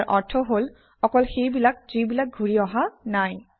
ইয়াৰ অৰ্থ হল অকল সেইবিলাক যিবিলাক ঘূৰি অহা নাই